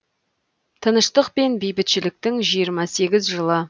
тыныштық пен бейбітшіліктің жиырма сегізінші жылы